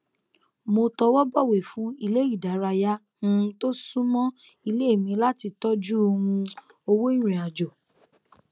mo tọwọbọwé fún ilé ìdárayá um tó súnmọ ilé mi láti tọjú um owó ìrìn àjò